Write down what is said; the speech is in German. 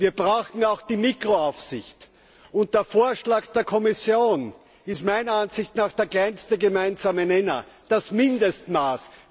Wir brauchen auch die Mikroaufsicht, und der Vorschlag der Kommission ist meiner Ansicht nach der kleinste gemeinsame Nenner, das Mindestmaß.